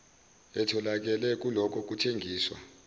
etholakele kulokho kuthengiswa